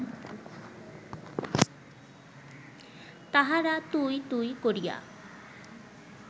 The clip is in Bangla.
তাহারা ‘তুই’ ‘তুই’ করিয়া